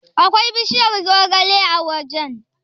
Akwai bishiyar zogale a wajen?